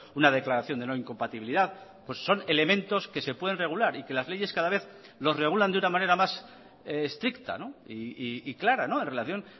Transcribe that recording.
una declaración de no incompatibilidad son elementos que se pueden regular y que las leyes cada vez los regulan de una manera más estricta y clara en relación